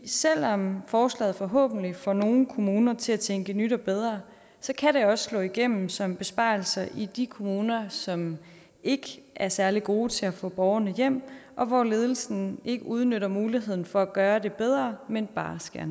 selv om forslaget forhåbentlig får nogle kommuner til at tænke i nyt og bedre så kan det også slå igennem som besparelser i de kommuner som ikke er særlig gode til at få borgerne hjem og hvor ledelsen ikke udnytter muligheden for at gøre det bedre men bare skærer